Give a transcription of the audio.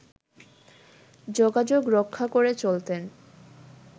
যোগাযোগ রক্ষা করে চলতেন